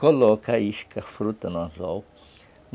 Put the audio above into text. Coloca a isca, a fruta no anzol.